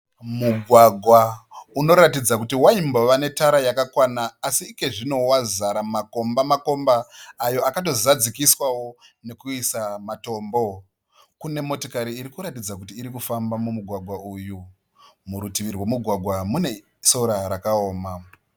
Mugwagwa unoratidza kuti waimbova netara yakakwana asi ikozvino wazara makomba makomba ayo akado zadzikiswawo nekuiswa matombo. Kune motokari iri kuratidza kuti iri kufamba mumugwagwa uyu. Murutivi rwemugwagwa mune sora rakaoma.